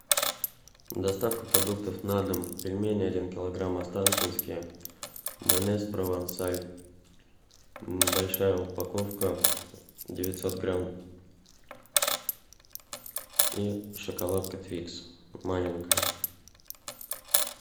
доставка продуктов на дом пельмени один килограмм останкинские майонез провансаль большая упаковка девятьсот грамм и шоколадка твикс маленькая